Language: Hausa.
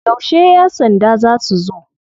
Yauce ya sanda za su zo?